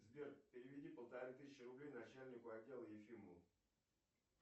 сбер переведи полторы тысячи рублей начальнику отдела ефимову